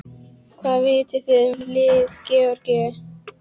Hvað vitið þið um lið Georgíu?